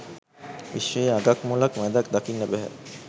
විශ්වයේ අගක් මුලක් මැදක් දකින්න බැහැ.